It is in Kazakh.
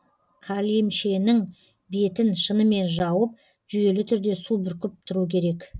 қалемшенің бетін шынымен жауып жүйелі түрде су бүркіп тұру керек